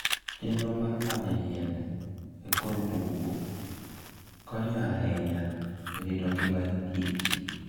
Chenro mar manyo yiende e kor bungu konyo ahinya e rito ngima kich.